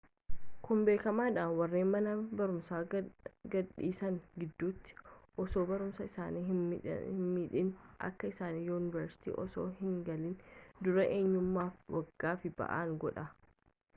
kun beekamaadha warreen mana barumsaa gad dhiisan gidduutti osoo barumsaa isaanii hin midhiin akka isaan yuunivarsiiti osoo hin galiin dura eeyyamameefi waggaaf ba'aan godha